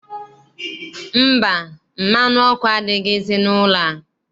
Mba, mmanụ ọkụ adighịzi n'ụlọ a.